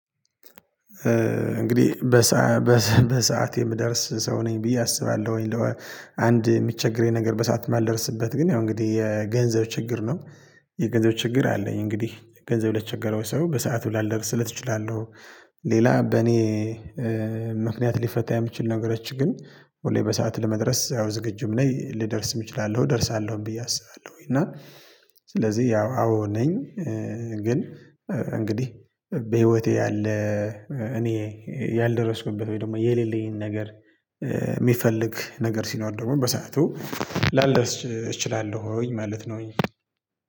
እንግዲህ በሰአት የምደርስ ሰው ነኝ ብዬ አስባለሁኝ አንድ የሚቸገረኝ ነገር በሰአት የማልደርስበት ግን ያው እንግዲህ የገንዘብ ችግር ነው። የገንዘብ ችግር አለኝ እንግዲህ ገንዘብ ለቸገረው ሰው በሰአቱ ላልደርስለት እችላለሁ። ሌላ በእኔ ምክንያት ሊፈታ የምችል ነገሮች ግን ሁሌ በሰአት ለመድረስ አዎ ዝግጁም ነኝ ልደርስም እችላለሁ እደርሳለሁም ብዬ አስባለሁኝ እና ስለዚህ ያው አዎ ነኝ። ግን እንግዲህ በህይወቴ ያለ እኔ ያልደረስኩበት ወይ ደግሞ የሌለኝን ነገር የሚፈልግ ነገር ሲኖር ደግሞ በሰአቱ ላልደርስ እችላለሁኝ ማለት ነው።